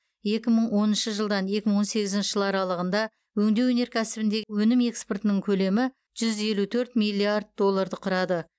екі мың оныншы жылдан екі мың он сегізінші жыл аралығында өңдеу өнеркәсібіндегі өнім экспортының көлемі жүз елу төрт миллиард долларды құрады